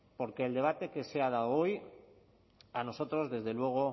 porque el debate que se ha dado hoy a nosotros desde luego